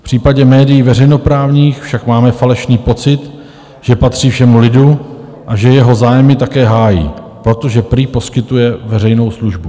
V případě médií veřejnoprávních však máme falešný pocit, že patří všemu lidu a že jeho zájmy také hájí, protože prý poskytuje veřejnou službu.